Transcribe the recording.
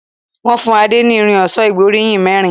Wón fún Ade ní Irin ọ̀ṣọ́ ìgbóríyìn mérin.